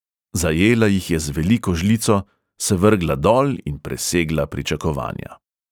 Zajela jih je z veliko žlico, se vrgla dol in presegla pričakovanja.